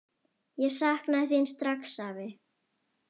Ég sakna þín strax, afi.